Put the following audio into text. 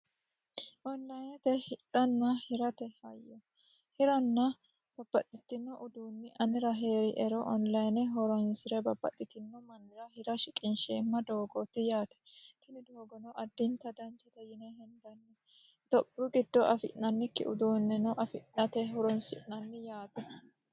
Onlinete hidhanna hirate hayyo ,babbaxino uduuni anera heeriero online horonsire babbaxitino mannira hira shiqinsheemmo doogoti yaate, tini doogono additta danchate yine hendanni itophiyu giddono afi'nannikki uduune afirate horonsi'nanni yaate.